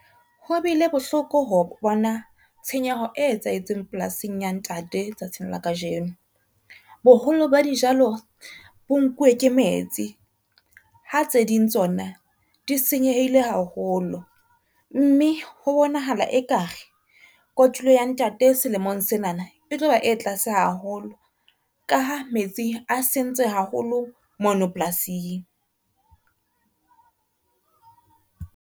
Ho bile bohloko ho bona tshenyeho e etsahetseng polasing ya ntate tsatsing la kajeno. Boholo ba dijalo bo nkuwe ke metsi, ha tse ding tsona di senyehile haholo, mme ho bonahala e kare kotulo ya ntate selemong sena na e tloba e tlase haholo ka ha metsi a sentse haholo mono polasing.